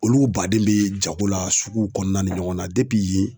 Olu baden bɛ jago la suguw kɔnɔna ni ɲɔgɔn na depi yen